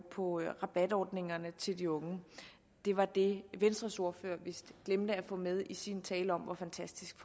på rabatordningerne til de unge det var det venstres ordfører vist glemte at få med i sin tale om hvor fantastisk